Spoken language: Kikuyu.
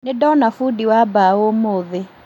Nĩndona bundi wa mbaũ ũmũthĩ